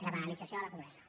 la banalització de la pobresa